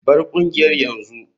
Bar kungiyar yanzu.